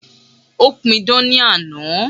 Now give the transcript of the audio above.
Ó pidán ní àná.